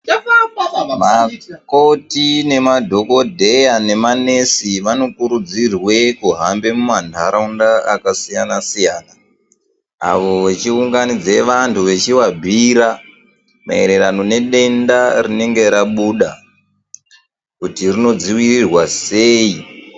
Vakoti nemadhokodheya nemanesi vanokurudzirwa kuhamba mumandaraunda akasiyana- siyana avo vachiunganidza vantu vachivabhira maererano nedenda rinenge rabuda kuti rinodzivirirwa sei